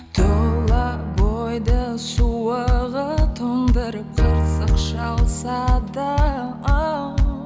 тұла бойды суығы тоңдырып қырсық шалса да